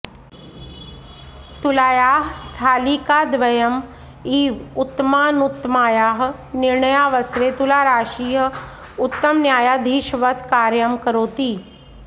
तुलायाः स्थालिकाद्वयम् इव उत्तमानुत्तमायाः निर्णयावसरे तुलाराशिः उत्तमन्यायाधीशवत् कार्यं करोति